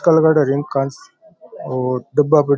काला काला ड्रिंक्स और डिब्बा प --